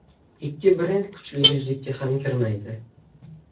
Ikki brend kuchli yuzlikka ham kirmaydi.